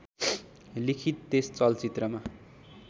लिखित त्यस चलचित्रमा